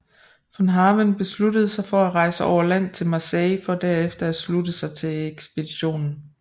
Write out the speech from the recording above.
Von Haven beslutter sig for at rejse over land til Marseille for der at slutte sig til ekspeditionen